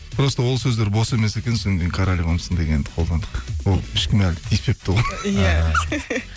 просто ол сөздер бос емес екен содан кейін королевамсың дегенді қолдандық ол ешкім әлі тиіспепті оған иә